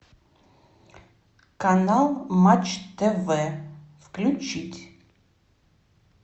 канал матч тв включить